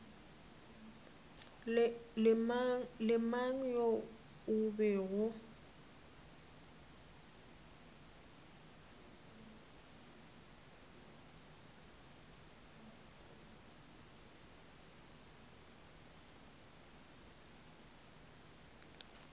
le mang yo e bego